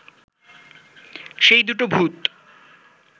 সেই দুটো ভূত